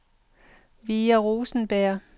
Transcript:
Vera Rosenberg